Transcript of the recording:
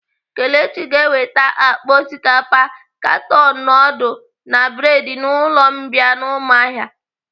Kelechi ga-eweta akpa osikapa, katon nudul na bredi n'ụlọ mbìa nọ n'umuahia.